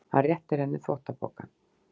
Hann réttir henni þvottapokann.